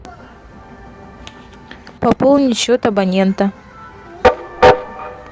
пополнить счет абонента